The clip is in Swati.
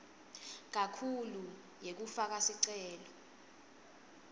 kakhulu yekufaka sicelo